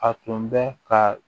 A tun bɛ ka